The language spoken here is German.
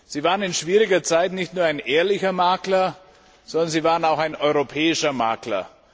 Sie waren in schwieriger Zeit nicht nur ein ehrlicher Makler, sondern Sie waren auch ein europäischer Makler.